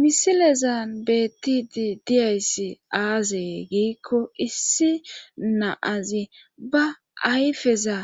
misilezan beettidi diyayssi aazee giikko issi naazi ba ayfeza